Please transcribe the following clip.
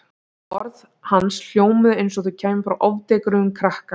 Orð hans hljómuðu eins og þau kæmu frá ofdekruðum krakka.